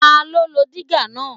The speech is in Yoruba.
Ta ló lo dígà náà?